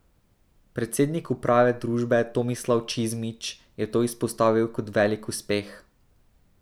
Predsednik uprave družbe Tomislav Čizmić je to izpostavil kot velik uspeh.